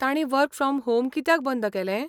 तांणी work from home कित्याक बंद केलें?